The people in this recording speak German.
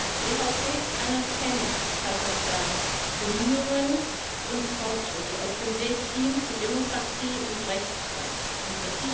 Die EVP erkennt Kasachstans Bemühungen und Fortschritte auf dem Weg hin zu Demokratie und Rechtsstaatlichkeit an.